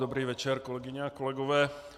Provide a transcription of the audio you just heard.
Dobrý večer, kolegyně a kolegové.